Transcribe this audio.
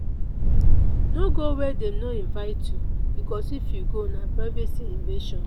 no go where dem no invite you because if you go na privacy invasion